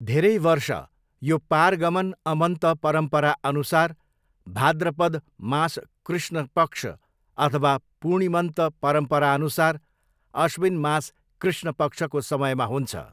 धेरै वर्ष, यो पारगमन अमन्त परम्परा अनुसार भाद्रपद मास कृष्ण पक्ष अथवा पूर्णिमन्त परम्परा अनुसार अश्विन मास कृष्ण पक्षको समयमा हुन्छ।